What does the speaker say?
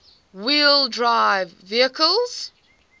wheel drive vehicles